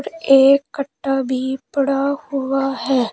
एक कट्टा भी पड़ा हुआ है।